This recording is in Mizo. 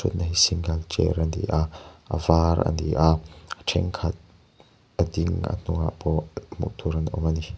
na hi single chair a ni a a var a ni a thenkhat a ding a hnungah pawh hmuh tur an awm a ni.